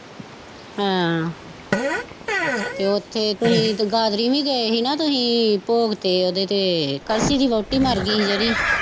ਹਾਂ ਤੇ ਉੱਥੇ ਤੁਸੀਂ ਗਾਦਰੀ ਵੀ ਗਏ ਸੀ ਨਾ ਤੁਸੀਂ ਭੋਗ ਤੇ ਉਹਦੇ ਤੇ ਕਲਸੀ ਦੀ ਵੋਹਟੀ ਮਰ ਗਈ ਸੀ ਜਿਹੜੀ